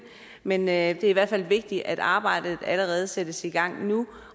men det er i hvert fald vigtigt at arbejdet allerede sættes i gang nu